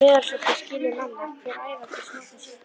Meðalsnotur skyli manna hver, æva til snotur sé.